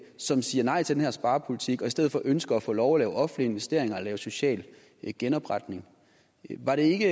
som siger nej til den her sparepolitik og i stedet for ønsker at få lov at lave offentlige investeringer og lave social genopretning var det ikke